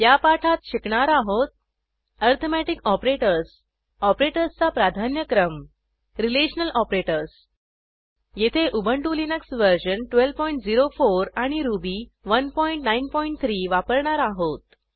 या पाठात शिकणार आहोत ऍरीथमेटिक ऑपरेटर्स ऑपरेटर्सचा प्राधान्यक्रम रिलेशनल ऑपरेटर्स येथे उबंटु लिनक्स वर्जन 1204 आणि रुबी 193 वापरणार आहोत